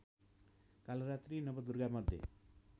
Kalaratri नवदुर्गामध्ये